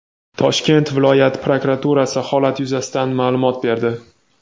Toshkent viloyat prokuraturasi holat yuzasidan ma’lumot berdi.